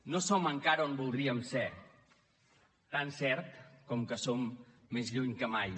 no som encara on voldríem ser tan cert com que som més lluny que mai